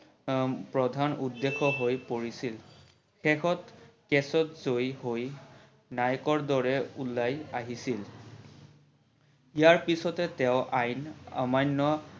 প্ৰধান উদ্দেশ্য হৈ পৰিছিল, শেষত case ত জয়ি হৈ নায়কৰ দৰে উলাই আহিছিল, ইয়াৰ পিছতে তেওৰ আইন অমান্য